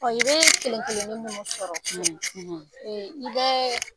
O i bɛ kelenkelennin minnu sɔrɔ ee i bɛ